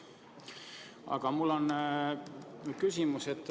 Aga mul on küsimus.